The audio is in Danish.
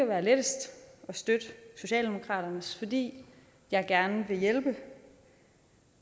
være lettest at støtte socialdemokratiets fordi jeg gerne vil hjælpe